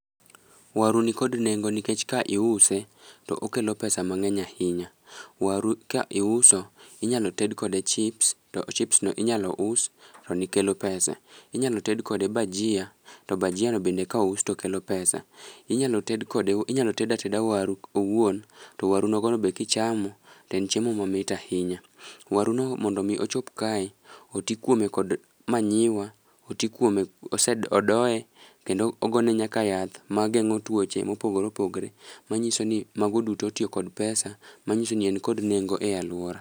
Waru ni kod nengo nikech ka iuse to okelo pesa mang'eny ahinya. Waru ka iuso, inyalo ted kode chips, to chips no inyalo us to ni kelo pesa. Inyalo ted kode bajia, to bajia no bende kous to kelo pesa. Inyalo ted kode inyalo ted ateda waru owuon, to waru nogo no be kichamo, to en chiemo mamit ahinya. Waru no mondo mi ochop kae, oti kuome kod manyiwa, oti kuome ose odoye kendo ogone nyaka yath mageng'o tuoche mopogore opogre. Ma nyiso ni mago duto otiyo kod pesa, ma nyiso ni en kod nengo e alwora.